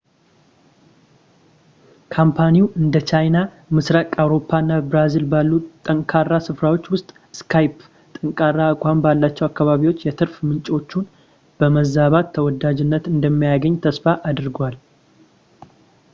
ካምፓኒው እንደ ቻይና ፣ ምስራቅ አውሮፓ እና ብራዚል ባሉ ጠንካራ ስፍራዎች ውስጥ skype ጠንካራ አቋም ባላቸው አካባቢዎች የትርፍ ምንጮቹን በማባዛት ተወዳጅነት እንደሚያገኝ ተስፋ አድርጓል